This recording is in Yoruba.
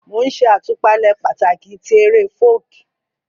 Mo n ṣe àtúpalẹ̀ pàtàkì ti eré Folk